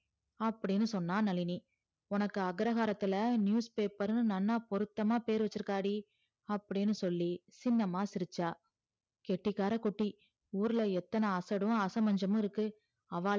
அப்டின்னு சொன்னா நழினி உனக்கு அக்ரகாரத்துள்ள நியூஸ்பேப்பர்ன்னு நன்னா போருத்தம்மா பேறு வச்சிருக்காடி அப்டின்னு சொல்லி சின்னம்மா சிரிச்சா கெட்டிகார குட்டி ஊருல எத்துண அசடும் அசமஞ்சும் இருக்கு அவளா அப்டி சொன்ன நழினி